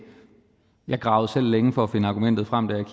jeg gravede selv længe for at finde argumentet frem da jeg